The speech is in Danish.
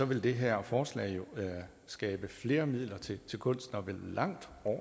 vil det her forslag jo skabe flere midler til kunsten og vil langt